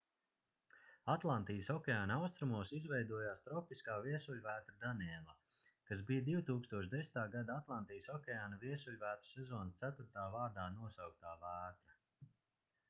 atlantijas okeāna austrumos izveidojās tropiskā viesuļvētra daniela kas bija 2010. gada atlantijas okeāna viesuļvētru sezonas ceturtā vārdā nosauktā vētra